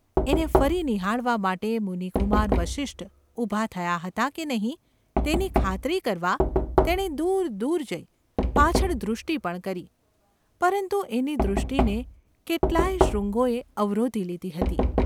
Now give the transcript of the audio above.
એને ફરી નિહાળવા માટે મુનિકુમાર વસિષ્ઠ ઊભા થયા હતા કે નહિ તેની ખાતરી કરવા તેણે દૂર દૂર જઈ પાછળ દૃષ્ટિ પણ કરી; પરંતુ એની દૃષ્ટિને કેટલાં યે શૃંગોએ અવરોધી લીધી હતી.